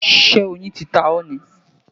Ṣé oyin ti ta ọ́ ni?